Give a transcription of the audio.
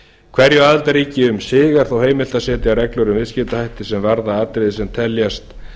hverju aðildarríki um sig er þó heimilt að setja felur um viðskiptahætti sem varða atriði sem teljast